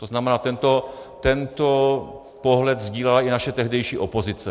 To znamená, tento pohled sdílela i naše tehdejší opozice.